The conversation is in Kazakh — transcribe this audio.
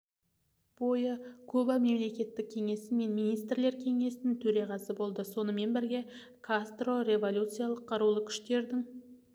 бойы куба мемлекеттік кеңесі мен министрлер кеңесінің төрағасы болды сонымен бірге кастро революциялық қарулы күштердің